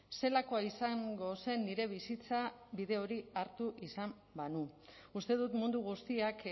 zelakoa izango zen nire bizitza bide hori hartu izan banu uste dut mundu guztiak